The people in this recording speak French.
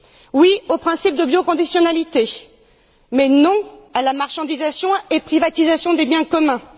Oui au principe de bioconditionnalité, mais non à la marchandisation et à la privatisation des biens communs.